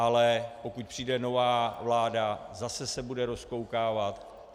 Ale pokud přijde nová vláda, zase se bude rozkoukávat.